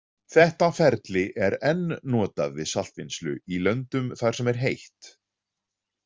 Þetta ferli er enn notað við saltvinnslu í löndum þar sem er heitt.